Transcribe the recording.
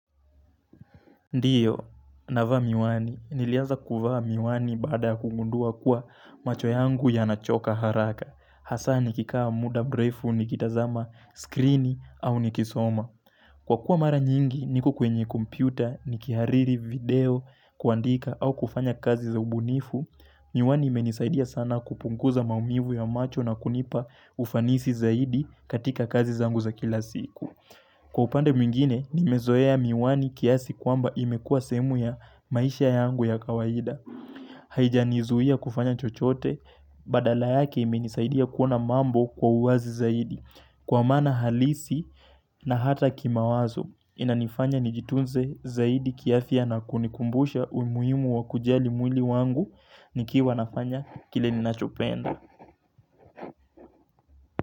Ndiyo, navaa miwani, nilianza kuvaa miwani baada kugundua kuwa macho yangu yanachoka haraka. Hasaa nikikaa mda mrefu nikitazama, skrini au nikisoma. Kwa kuwa mara nyingi, niko kwenye kompyuta, nikihariri video, kuandika au kufanya kazi za ubunifu, miwani imenisaidia sana kupunguza maumivu ya macho na kunipa ufanisi zaidi katika kazi zangu za kila siku. Kwa upande mwingine, nimezoea miwani kiasi kwamba imekua sehemu ya maisha yangu ya kawaida. Haijanizuia kufanya chochote, badala yake imenisaidia kuona mambo kwa uwazi zaidi. Kwa maana halisi na hata kimawazo, inanifanya nijitunze zaidi kiafya na kunikumbusha umuhimu wa kujali mwili wangu, nikiwa nafanya kile ninachopenda.